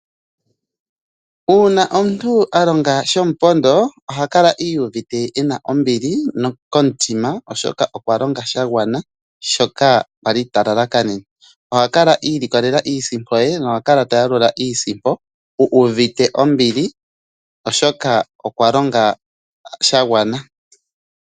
Uuna omuntu alonga shomupondo oha kala uuvite ena ombili komutima oshoka okwalonga shangwana shoka talala kanene. Oha kala iilikolelela iisimpo ye, oha kala tayalula iisimpo uuvite ombili oshoka okwalonga shagwana.